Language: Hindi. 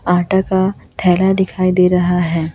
आटा का थैला दिखाई दे रहा है।